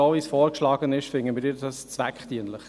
So wie es vorgeschlagen wird, finden wir es zweckdienlich.